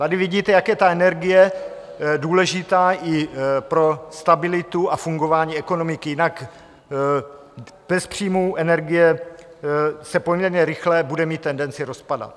Tady vidíte, jak je ta energie důležitá i pro stabilitu a fungování ekonomiky, jinak bez příjmu energie se poměrně rychle bude mít tendenci rozpadat.